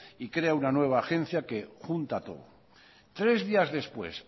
y crea una nueva agencia que junta todo tres días después